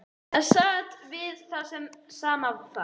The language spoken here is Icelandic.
Það sat við það sama þar.